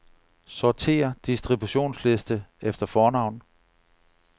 Sortér distributionsliste efter fornavn.